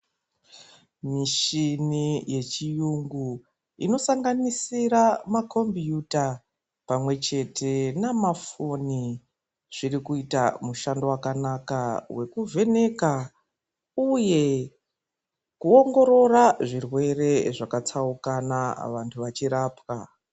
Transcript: Mishini yechiyungu inosanganisire makombuta pamwechete nemafoni zvirikuita mushando wakanaka wekuvheneka uye kuongorora zvirwere zvakatsaukana vantu vachirapwa.